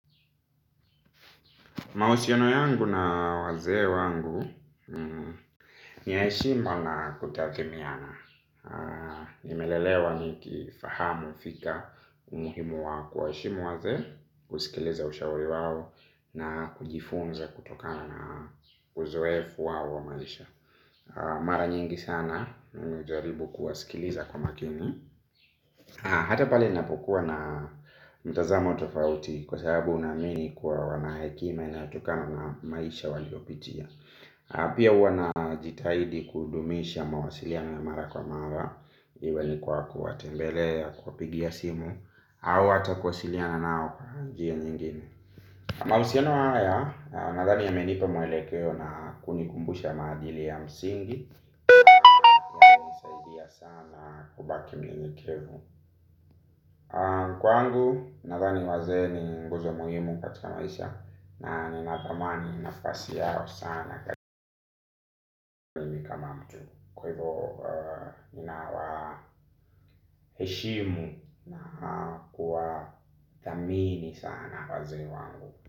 Mahusiano yangu na wazee wangu ni ya heshimba na kutathimiana. Nimelelewa ni kifahamu, fika, umuhimu wa kuwa heshimu wazee, kusikiliza ushauri wao na kujifunza kutokana na uzoefu wao wa maisha. Mara nyingi sana, mimi hujaribu kuwasikiliza kwa makini. Hata pali napokuwa na mtazama tofauti, kwa sababu naamini kuwa wana hekima inaotokana na maisha waliopitia. Pia najitahidi kudumisha mawasiliano ya mara kwa mara. Iwe ni kwa kuwatembelea kwa kuwapigia simu au ata kuwasiliana nao kwa njia nyingine. Mahusiano haya, nadhani yamenipa mwelekeo na kunikumbusha maadili ya msingi. Ya sana kubaki mnyenyekevu. Kwangu, nadhani wazee ni nguzo muhimu katika maisha. Na ninathamani, nafasi yao sana. Kwa hivyo, ni nawaheshimu na kuwa thamini sana wazee wangu.